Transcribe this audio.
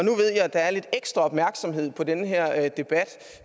at der er lidt ekstra opmærksomhed på den her debat